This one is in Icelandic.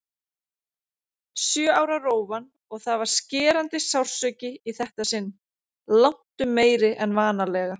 Sjö ára rófan- og það var skerandi sársauki í þetta sinn, langtum meiri en vanalega.